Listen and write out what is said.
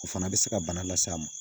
O fana bɛ se ka bana las'a ma